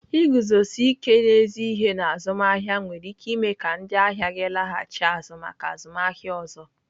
Iguzosi ike n'ezi ihe na azụmaahịa nwere ike ime ka ndị ahịa gị laghachi azụ maka azụmaahịa ọzọ.